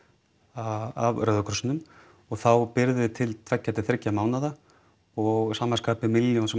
af Rauða krossinum og þá birgðir til tveggja þriggja mánaða og sama skapi milljón sem